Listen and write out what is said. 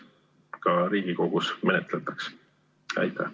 Edasi olid paar tehnilist küsimust, mis on seotud täpselt samamoodi numbrilise hindamise teemaga.